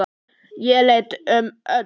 Ég leit um öxl.